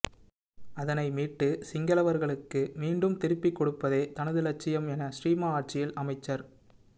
அதனை மீட்டு சிங்களவர்களுக்கு மீண்டும் திருப்பிக் கொடுப்பதே தனது லட்சியம் என ஸ்ரீமா ஆட்சியில் அமைச்சர்